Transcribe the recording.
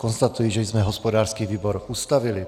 Konstatuji, že jsme hospodářský výbor ustavili.